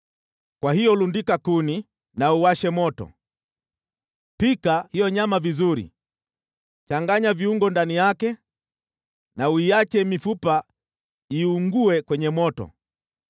Kwa hiyo lundika kuni na uwashe moto. Pika hiyo nyama vizuri, changanya viungo ndani yake, na uiache mifupa iungue kwenye moto.